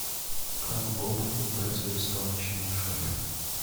как бобу выбраться из тонущей машины